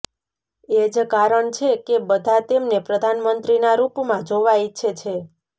એ જ કારણ છે કે બધા તેમને પ્રધાનમંત્રીના રૂપમાં જોવા ઈચ્છે છે